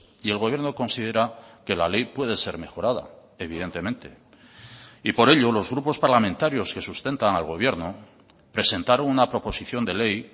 y el gobierno considera que la ley puede ser mejorada evidentemente y por ello los grupos parlamentarios que sustentan al gobierno presentaron una proposición de ley